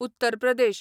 Uttar Pradesh